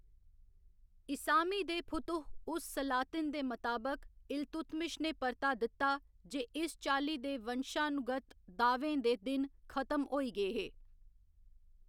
इसामी दे फुतुह उस सलातिन दे मताबक, इल्तुतमिश ने परता दित्ता जे इस चाल्ली दे वंशानुगत दाह्‌वें दे दिन खत्म होई गे हे।